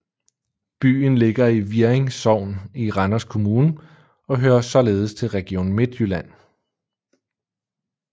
Byen ligger i Virring Sogn i Randers Kommune og hører således til Region Midtjylland